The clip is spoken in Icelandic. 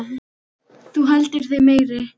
Þú heldur þig meiri.